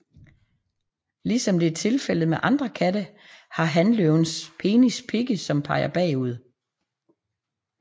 Ligesom det er tilfældet med andre katte har hanløvens penis pigge som peger bagud